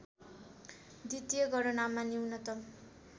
द्वितीय गणनामा न्यूनतम